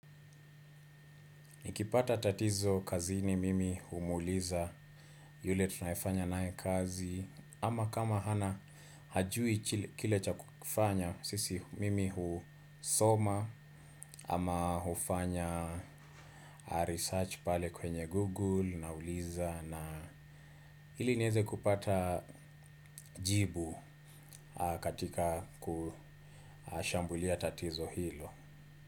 Nikipata tatizo kazini mimi humuuliza yule tunayefanya naye kazi ama kama hana hajui kile cha kufanya sisi mimi husoma ama hufanya research pale kwenye Google nauliza na ili niweze kupata jibu katika kushambulia tatizo hilo.